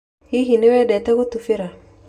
Hihi nĩ wendete gũtubira?